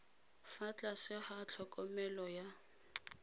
fa tlase ga tlhokomelo ya